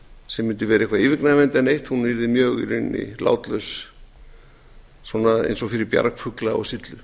sem mundi vera eitthvað yfirgnæfandi eða neitt hún yrði í rauninni mjög látlaus svona eins og fyrir bjargfugla á syllu